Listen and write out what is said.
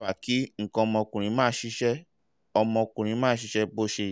fa kí nǹkan ọmọkùnrin má ṣiṣẹ́ ọmọkùnrin má ṣiṣẹ́ bó se